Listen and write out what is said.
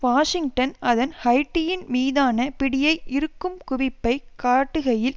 Washington அதன் ஹைட்டியின் மீதான பிடியை இறுக்கும் குவிப்பை காட்டுகையில்